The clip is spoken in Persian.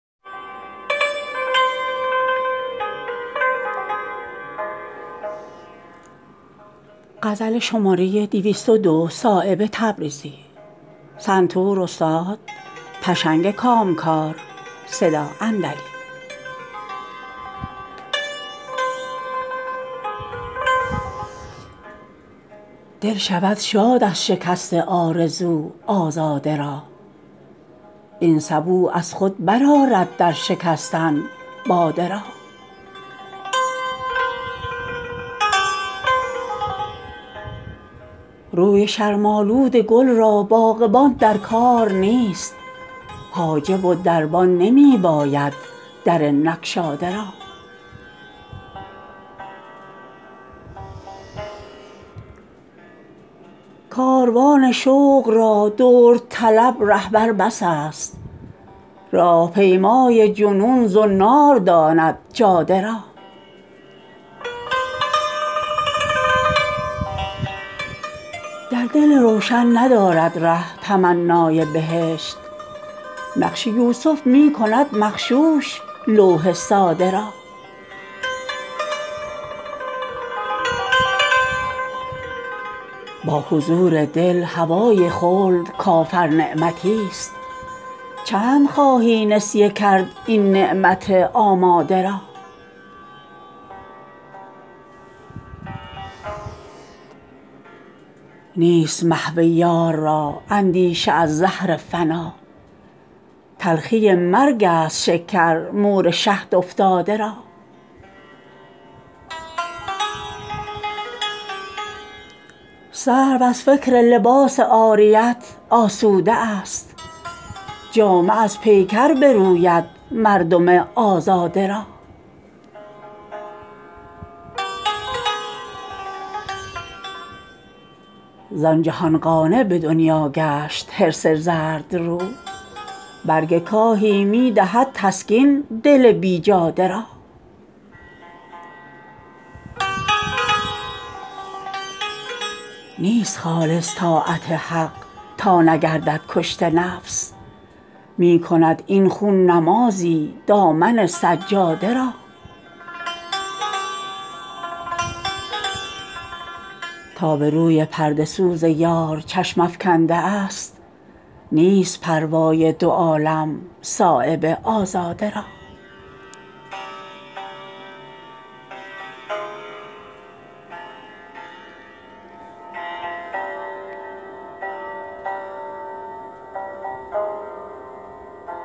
دل شود شاد از شکست آرزو آزاده را این سبو از خود برآرد در شکستن باده را روی شرم آلود گل را باغبان در کار نیست حاجب و دربان نمی باید در نگشاده را کاروان شوق را درد طلب رهبر بس است راه پیمای جنون زنار داند جاده را در دل روشن ندارد ره تمنای بهشت نقش یوسف می کند مغشوش لوح ساده را با حضور دل هوای خلد کافر نعمتی است چند خواهی نسیه کرد این نعمت آماده را نیست محو یار را اندیشه از زهر فنا تلخی مرگ است شکر مور شهد افتاده را سرو از فکر لباس عاریت آسوده است جامه از پیکر بروید مردم آزاده را زان جهان قانع به دنیا گشت حرص زردرو برگ کاهی می دهد تسکین دل بیجاده را نیست خالص طاعت حق تا نگردد کشته نفس می کند این خون نمازی دامن سجاده را تا به روی پرده سوز یار چشم افکنده است نیست پروای دو عالم صایب آزاده را